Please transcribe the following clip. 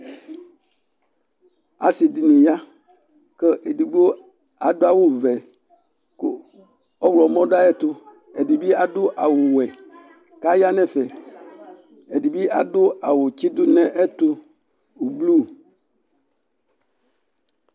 Asi dini ya ku édigbo adu awu vɛ ku ɔwlɔ mɔ dua ayɛtu ɛdi bi adu awu wɛ kaya nɛ ɛfɛ ɛdi bi adu awu tsidunɛtu ublu